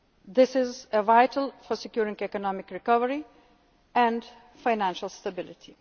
insolvent banks. This is vital for securing economic recovery and financial